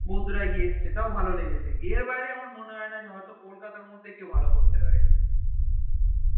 বন্দুরা গিয়ে যে ওয়া ভালো লেগেছে এর বাইরে আমার মনে হয়না যে হয়ে কলকাতা তে র মধ্যে কেও ভালো করতে পারে